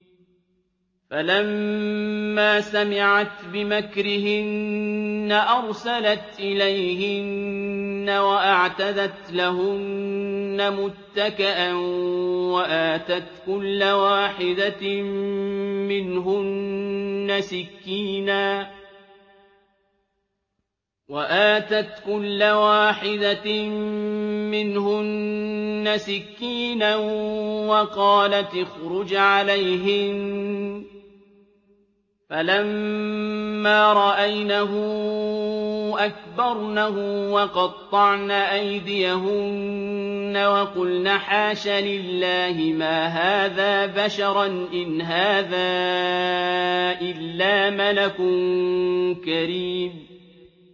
فَلَمَّا سَمِعَتْ بِمَكْرِهِنَّ أَرْسَلَتْ إِلَيْهِنَّ وَأَعْتَدَتْ لَهُنَّ مُتَّكَأً وَآتَتْ كُلَّ وَاحِدَةٍ مِّنْهُنَّ سِكِّينًا وَقَالَتِ اخْرُجْ عَلَيْهِنَّ ۖ فَلَمَّا رَأَيْنَهُ أَكْبَرْنَهُ وَقَطَّعْنَ أَيْدِيَهُنَّ وَقُلْنَ حَاشَ لِلَّهِ مَا هَٰذَا بَشَرًا إِنْ هَٰذَا إِلَّا مَلَكٌ كَرِيمٌ